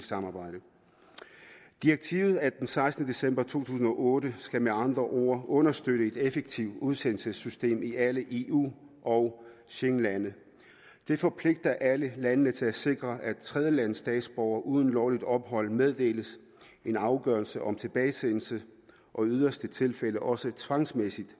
samarbejde direktivet af sekstende december to tusind og otte skal med andre ord understøtte et effektivt udsendelsessystem i alle eu og schengenlande det forpligter alle landene til at sikre at tredjelandsstatsborgere uden lovligt ophold meddeles en afgørelse om tilbagesendelse og i yderste tilfælde også tvangsmæssig